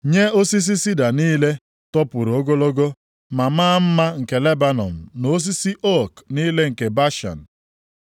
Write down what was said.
nye osisi sida niile topụrụ ogologo ma maa mma nke Lebanọn, + 2:13 Lebanọn bụ obodo dị nʼakụkụ ọwụwa anyanwụ osimiri Jọdan. Ihe e ji mara obodo a bụ osisi ook na-eto nʼebe ahụ na ehi \+xt Zek 11:1-2\+xt* na osisi ook niile nke Bashan,